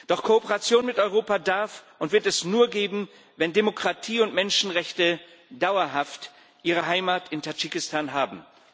Doch Kooperation mit Europa darf und wird es nur geben, wenn Demokratie und Menschenrechte dauerhaft ihre Heimat in Tadschikistan haben.